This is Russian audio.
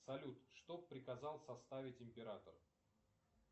салют что приказал составить император